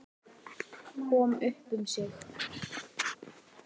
Kom upp um sig.